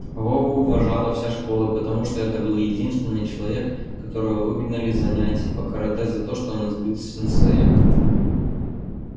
вову уважала вся школа потому что это был единственный человек которого выгнали с занятий по карате за то что он избил сенсея